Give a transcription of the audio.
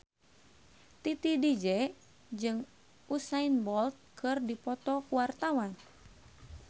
Titi DJ jeung Usain Bolt keur dipoto ku wartawan